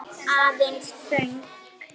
Aðeins þögn.